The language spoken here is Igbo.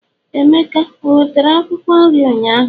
emeka o wetara Akwụkwọ nri ụnyaahụ?